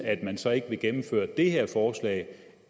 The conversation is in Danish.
man så ikke vil gennemføre det her forslag